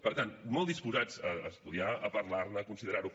per tant molt disposats a estudiar a parlar ne a considerar ho